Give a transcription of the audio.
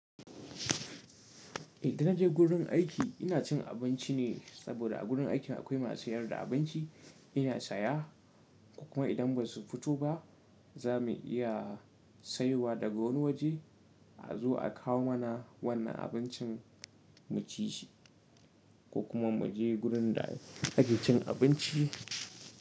Idan na je wurin aiki ina cin abinci ne saboda a gurin aikina akwai masu sayar da abinci ina saya, ko kuma idan ba su fito ba za mu iya sayowa daga wani waje, a zo a kawo mana wannan abincin mu ci shi ko kuma mu je wurin da ake cin abinci.